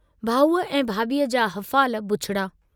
भाऊअ ऐं भाभीअ जा हफ़ाल बुछड़ा।